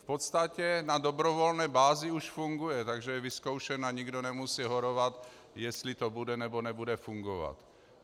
V podstatě na dobrovolné bázi už funguje, takže je vyzkoušen a nikdo nemusí horovat, jestli to bude, nebo nebude fungovat.